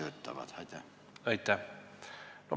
Aitäh!